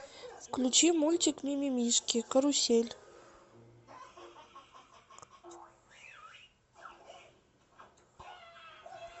включи мультик мимимишки карусель